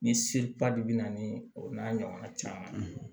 Ni seli ba de bɛ na ni o n'a ɲɔgɔnna caman